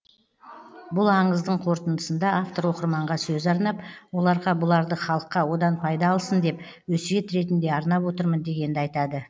бұл аңыздың қорытындысында автор оқырманға сөз арнап оларға бұларды халыққа одан пайда алсын деп өсиет ретінде арнап отырмын дегенді айтады